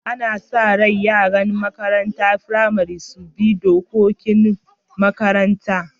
Ana sa rai yaran makarantan firamari su bi dukan dokan makarantan.